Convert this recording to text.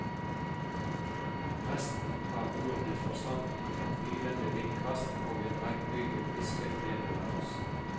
Resten av ordene forsvant i et hylende vindkast og en regnbyge pisket nedover oss.